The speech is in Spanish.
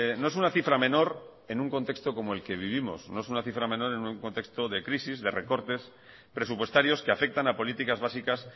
no es una cifra menor en un contexto como el que vivimos no es una cifra menor en un contexto de crisis de recortes presupuestarios que afectan a políticas básicas